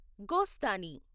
Gosthani